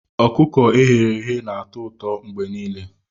Ọkụkọ e ghere eghe na-atọ ụtọ mgbe niile